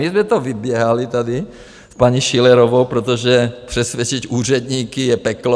My jsme to vyběhali tady s paní Schillerovou, protože přesvědčit úředníky je peklo.